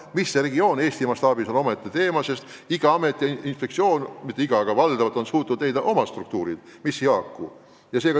Mis see regioon Eesti mastaabis on, on omaette teema, sest enamik ameteid ja inspektsioone on loonud oma struktuuri ja need ei pruugi omavahel haakuda.